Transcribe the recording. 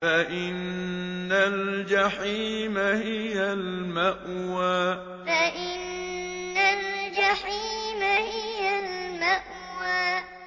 فَإِنَّ الْجَحِيمَ هِيَ الْمَأْوَىٰ فَإِنَّ الْجَحِيمَ هِيَ الْمَأْوَىٰ